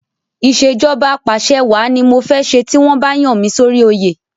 Ìṣèjọba Apàṣẹwàá ni mo fẹ́ ṣe ti wọ́n bá yàn mí sórí oyè.